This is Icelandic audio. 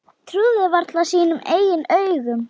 Trúði varla sínum eigin augum.